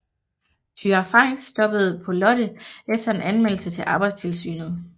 Thyra Frank stoppede på Lotte efter en anmeldelse til arbejdstilsynet